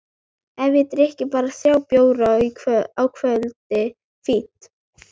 Ef ég drykki bara þrjá bjóra á kvöldi, fínt!